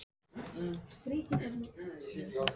Hvar á hann afi þinn heima?